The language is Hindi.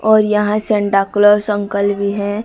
और यहां सैंटा क्लॉज अंकल भी है।